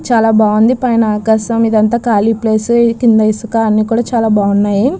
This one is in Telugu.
చాల బాగుంది పైన ఆకాశం ఇది అంత కాలి ప్లేస్ కింద ఇసుక ఇది అంత చాల బాగుంది.